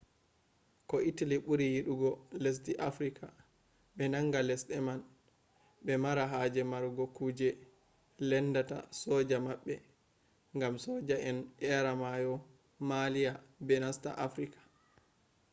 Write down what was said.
ko italy buri yidugo lesde afrika. be nanga lesde man be mara haje marugo kuje lendata soja mabbe gam soja en eera mayo maalia be nasta afrika